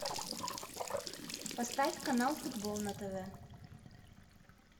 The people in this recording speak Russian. поставь канал футбол на тв